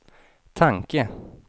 tanke